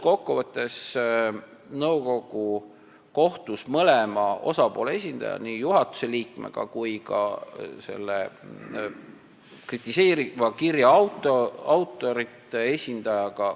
Kokku võttes: nõukogu kohtus mõlema osapoolega, nii juhatuse liikmega kui ka selle kritiseeriva kirja autorite esindajaga.